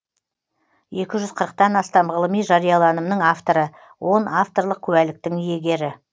екі жүз қырықтан астам ғылыми жарияланымның авторы он авторлық куәліктің иегері